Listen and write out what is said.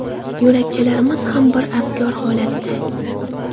Yo‘lakchalarimiz ham bir abgor holatda.